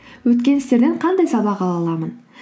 өткен істерден қандай сабақ ала аламын